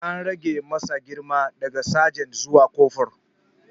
An rage masa girma daga sajan zuwa kofur.